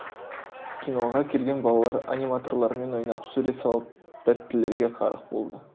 киноға келген балалар аниматорлармен ойнап сурет салып тәттілерге қарық болды